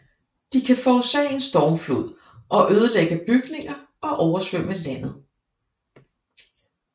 De kan forårsage en stormflod og ødelægge bygninger og oversvømme landet